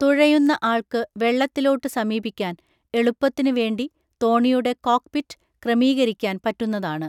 തുഴയുന്ന ആൾക്ക് വെള്ളത്തിലോട്ടു സമീപിക്കാൻ എളുപ്പത്തിന്‌ വേണ്ടി തോണിയുടെ കോക്ക്പിറ്റ് ക്രമീകരിക്കാൻ പറ്റുന്നതാണ്